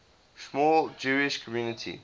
small jewish community